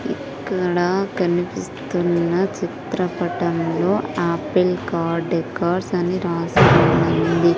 ఇక్కడ కనిపిస్తున్న చిత్రపటంలో ఆపిల్ కార్ డెకార్స్ అని రాసి ఉంది.